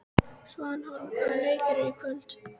Svanhólm, hvaða leikir eru í kvöld?